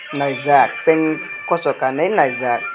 naijak pant kocho kanwi naijak.